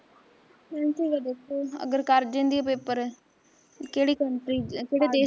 Nancy ਦਾ ਦੇਖੋ, ਅਗਰ ਕਰ ਜਾਂਦੀ ਐ paper ਕਿਹੜੀ country ਚ ਜਾਂ ਕਿਹੜੇ ਦੇਸ਼